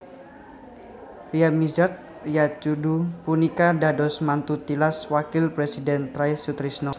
Ryamizard Ryacudu punika dados mantu tilas Wakil Présidhén Try Sutrisno